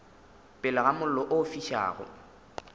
pele ga mollo o fišago